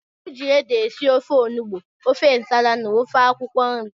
Eji ede esị ofe ọnụgbu, ofe ǹsàlà na ofe akwụkwo nri.